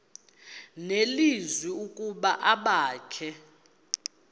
nelizwi ukuba abakhe